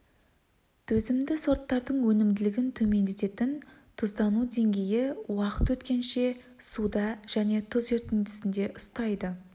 төзімді сорттардың өнімділігін төмендететін тұздану деңгейі уақыт өткенше суда және тұз ерітіндісінде ұстайды